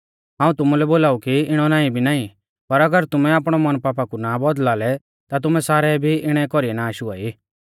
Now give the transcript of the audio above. हाऊं तुमुलै बोलाऊ कि इणौ नाईं भी नाईं पर अगर तुमै आपणौ मन ना बौदल़ा लै ता तुमै सारै भी इणै कौरीऐ नाष हुआई